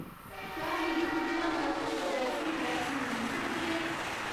क्या मिगी लुधियाना च कोवैक्सीन वैक्सीन मिली सकदी ऐ